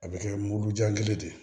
A bɛ kɛ mulujan kelen de ye